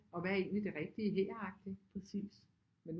Og hvad er egentlig det rigtige her agtigt men